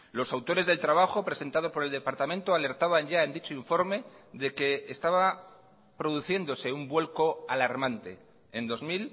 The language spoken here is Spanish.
los autores del trabajo presentado por el departamento alertaban ya en dicho informe de que estaba produciéndose un vuelco alarmante en dos